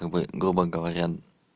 как бы грубо говоря